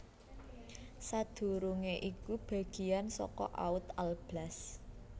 Sadurungé iku bagiyan saka Oud Alblas